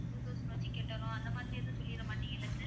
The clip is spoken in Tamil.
two thousand வச்சு கட்டணும் அந்த மாதிரி எதுவும் சொல்லிடமாட்டீங்களே sir